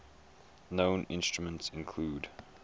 known instruments include